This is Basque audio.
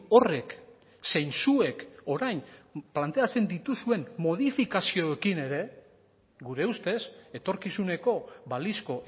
horrek zein zuek orain planteatzen dituzuen modifikazioekin ere gure ustez etorkizuneko balizko